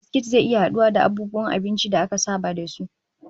Biskit zai iya haduwa da abubuwan abinci da aka saba da su